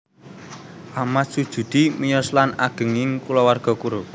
Achmad Sujudi miyos lan ageng ing kulawarga guru